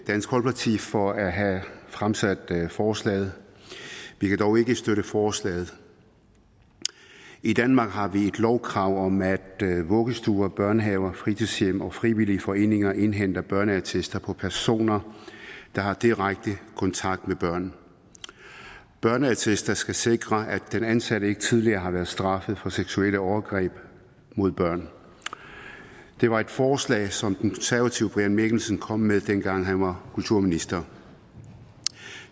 dansk folkeparti for at have fremsat forslaget vi kan dog ikke støtte forslaget i danmark har vi et lovkrav om at vuggestuer børnehaver fritidshjem og frivillige foreninger indhenter børneattester på personer der har direkte kontakt med børn børneattester skal sikre at den ansatte ikke tidligere har været straffet for seksuelle overgreb mod børn det var et forslag som de konservatives brian mikkelsen kom med dengang han var kulturminister